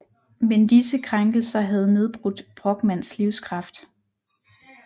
Men disse krænkelser havde nedbrudt Brochmands livskraft